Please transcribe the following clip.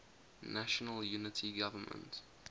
national unity government